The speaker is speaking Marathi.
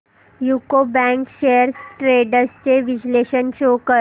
यूको बँक शेअर्स ट्रेंड्स चे विश्लेषण शो कर